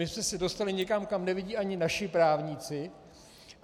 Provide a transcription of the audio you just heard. My jsme se dostali někam, kam nevidí ani naší právníci.